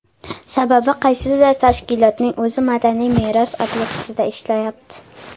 Sababi qaysidir tashkilotning o‘zi madaniy meros obyektida ishlayapti.